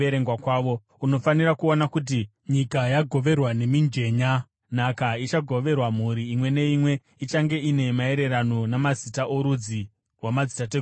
Unofanira kuona kuti nyika yagoverwa nemijenya. Nhaka ichagoverwa mhuri imwe neimwe ichange iri maererano namazita orudzi rwamadzitateguru avo.